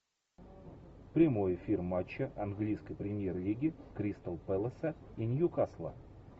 прямой эфир матча английской премьер лиги кристал пэласа и ньюкасла